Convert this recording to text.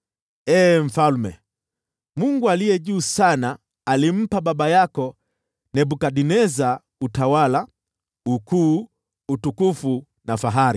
“Ee mfalme, Mungu Aliye Juu Sana alimpa baba yako Nebukadneza utawala, ukuu, utukufu na fahari.